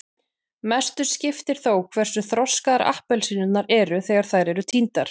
mestu skiptir þó hversu þroskaðar appelsínurnar eru þegar þær eru tíndar